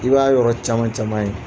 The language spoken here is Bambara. I b'a yɔrɔ caman caman ye